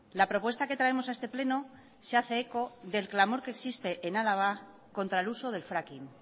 la propuesta que traemos a este pleno se hace eco del clamor que existe en álava contra el uso del fracking